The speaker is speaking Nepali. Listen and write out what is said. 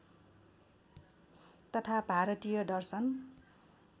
तथा भारतीय दर्शन